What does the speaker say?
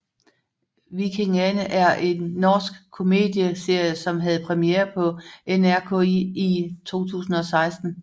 Vikingane er en norsk komedieserie som havde premiere på NRK1 i 2016